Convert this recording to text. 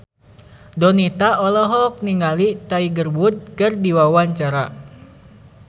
Donita olohok ningali Tiger Wood keur diwawancara